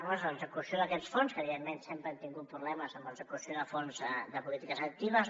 un és l’execució d’aquests fons que evidentment sempre hem tingut problemes amb l’execució de fons de polítiques actives